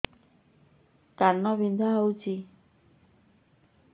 କାନ ବିନ୍ଧା ହଉଛି